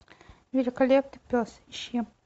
великолепный пес ищи